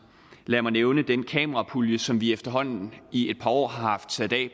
lad mig nævne den kamerapulje som vi efterhånden i et par år har sat af